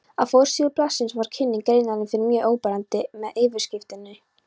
Á forsíðu blaðsins var kynning greinarinnar mjög áberandi með yfirskriftinni.